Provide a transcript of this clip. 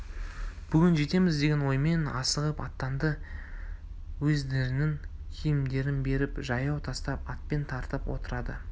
бүгін жетеміз деген оймен асығып аттанды өздерінің киімдерін беріп жаяу тастап атпен тартып отырады